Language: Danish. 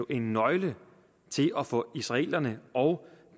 en nøgle til at få israelerne og